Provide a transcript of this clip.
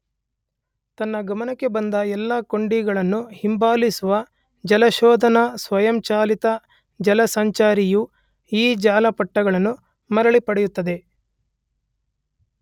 ತನ್ನ ಗಮನಕ್ಕೆ ಬಂದ ಎಲ್ಲ ಕೊಂಡಿಗಳನ್ನೂ ಹಿಂಬಾಲಿಸುವ ಜಾಲಶೋಧನಾ ಸ್ವಯಂಚಾಲಿತ ಜಾಲಸಂಚಾರಿಯು ಈ ಜಾಲಪುಟಗಳನ್ನು ಮರಳಿ ಪಡೆಯುತ್ತದೆ.